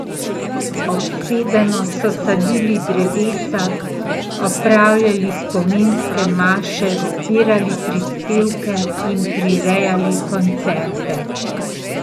Obsedeno so sadili drevesca, opravljali spominske maše, zbirali prispevke in prirejali koncerte.